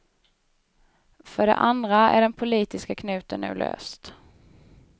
För det andra är den politiska knuten nu löst.